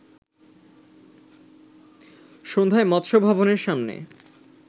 সন্ধ্যায় মৎস্য ভবনের সামনে